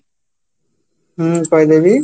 ହୁଁ କହିଦେବି